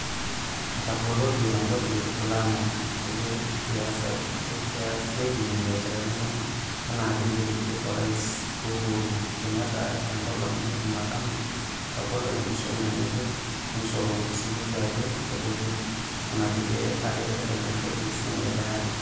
Etaboloki empoti e Lamu peyie easiaki imbiasharani enaa peyie eidip Orais Uhuk=ru Kenyatta tengolong ejumatano atabolo enkishomi ngejuk neishoru osiligi ajoo kebolii nenakulia are eton eitu eishunye ele arii.